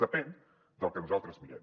depèn del que nosaltres mirem